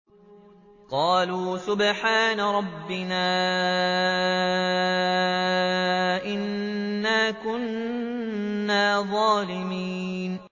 قَالُوا سُبْحَانَ رَبِّنَا إِنَّا كُنَّا ظَالِمِينَ